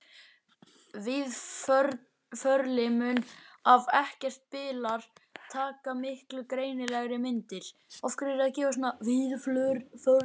Víðförli mun ef ekkert bilar taka miklu greinilegri myndir.